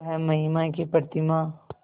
वह महिमा की प्रतिमा